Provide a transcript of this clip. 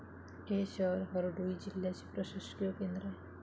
हे शहर हरडोई जिल्ह्याचे प्रशासकीय केंद्र आहे.